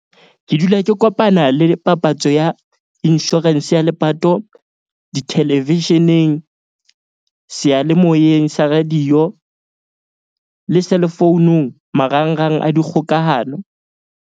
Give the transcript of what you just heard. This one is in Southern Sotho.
Ke dula ke kopana le papatso ya insurance ya lepato di-television-eng, seyalemoyeng sa radio le cell phone-ung marangrang a dikgokahano.